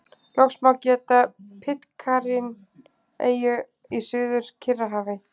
Loks má geta Pitcairn-eyju í Suður-Kyrrahafi.